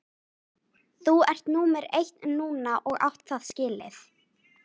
Þú ert númer eitt núna og átt það skilið.